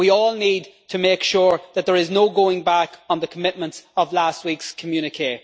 We all need to make sure that there is no going back on the commitments of last week's communiqué.